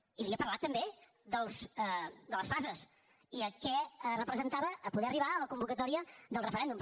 i li he parlat també de les fases i què representava poder arribar a la convocatòria del referèndum